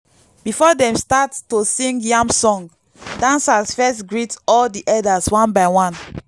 before dem start to sing yam song dancers first greet all the elders one by one.